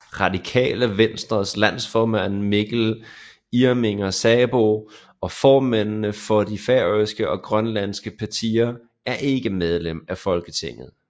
Radikale Venstres landsformand Mikkel Irminger Sarbo og formændene for de færøske og grønlandske partier er ikke medlemmer af Folketinget